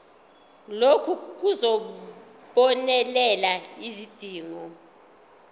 lokhu kuzobonelela izidingo